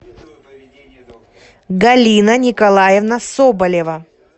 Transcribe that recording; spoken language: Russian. галина николаевна соболева